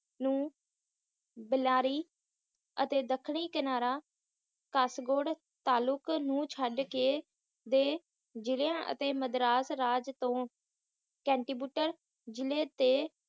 ਨੂੰ ਬਿਲੇਰੀ ਅਤੇ ਦੱਖਣੀ ਕਿਨਾਰਾ ਕੈਸਬੋਰਡ ਤਾਲੁਕ ਨੂੰ ਛੱਡ ਕੇ ਦੇ ਜਿਹਲੀਆਂ ਅਤੇ ਮਦਰਾਸ ਰਾਜ ਤੋਂ ਕੈਂਤੀਬੁਟਲ ਜ੍ਹਿਲੇ ਤੇ